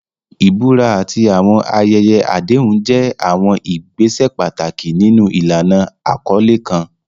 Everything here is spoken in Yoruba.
Ìbúra àti àwọn ayẹyẹ àdéhùn jẹ́ àwọn ìgbésẹ̀ pàtàkì nínú ìlànà àkọlé kan.